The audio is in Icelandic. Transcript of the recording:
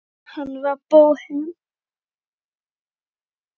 Hann var bóhem.